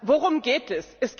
Worum geht es?